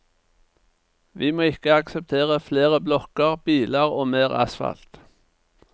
Vi må ikke akseptere flere blokker, biler og mer asfalt.